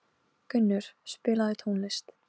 Ég hef svo sem heldur ekkert til þeirra að sækja.